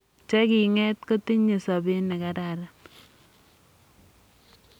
che king' et kotinyei sobet ne kararan.